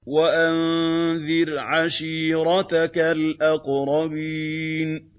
وَأَنذِرْ عَشِيرَتَكَ الْأَقْرَبِينَ